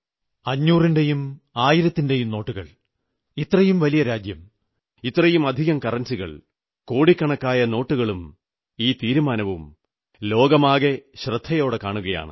500 ന്റെയും 1000ന്റെയും നോട്ടുകൾ ഇത്രയും വലിയ രാജ്യം ഇത്രയുമധികം കറൻസികൾ കോടിക്കണക്കായ നോട്ടുകളും ഈ തീരുമാനവും ലോകമാകെ ശ്രദ്ധയോടെ കാണുകയാണ്